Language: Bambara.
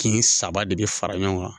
Kin saba de be fara ɲɔgɔn kan